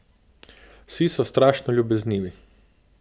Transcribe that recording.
Vsi so strašno ljubeznivi.